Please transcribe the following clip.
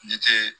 Ni te